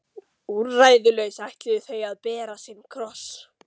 Úrræðalaus ætluðu þau að bera sinn kross.